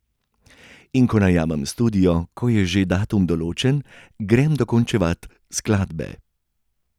In ko najamem studio, ko je že datum določen, grem dokončevat skladbe.